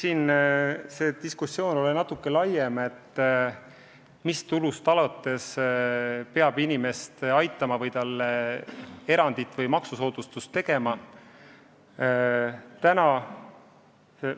Eks see diskussioon, kui suurest tulust alates peab inimest aitama või talle maksusoodustust tegema, ole natuke laiem.